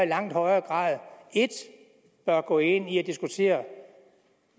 langt højere grad 1 bør gå ind i at diskutere